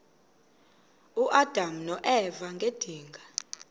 uadam noeva ngedinga